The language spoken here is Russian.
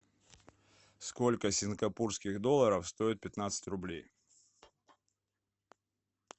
сколько сингапурских долларов стоит пятнадцать рублей